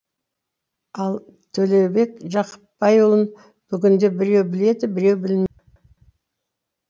ал төлеубек жақыпбайұлын бүгінде біреу біледі біреу білмейді